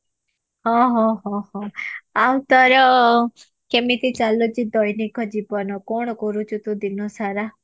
ହଁ ଆଉ ତୋର କେମିତି ଚାଲିଛି ଦୈନିକ ଜୀବନ କଣ କରୁଛୁ ତୁ ଦିନ ସାରା